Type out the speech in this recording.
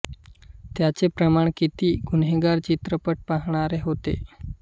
त्याचे प्रमाण किती किती गुन्हेगार चित्रपट पाहणारे होते